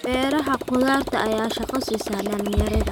Beeraha khudaarta ayaa shaqo siiya dhalinyarada.